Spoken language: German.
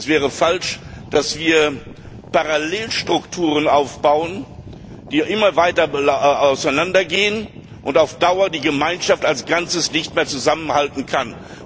Es wäre falsch, wenn wir Parallelstrukturen aufbauen, die immer weiter auseinandergehen und so auf Dauer die Gemeinschaft als Ganzes nicht mehr zusammengehalten werden kann.